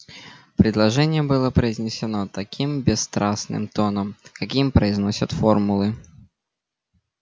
предложение было произнесено таким бесстрастным тоном каким произносят формулы